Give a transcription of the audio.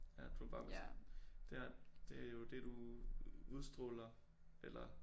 Ja du ville bare være sådan det har det jo det du udstråler eller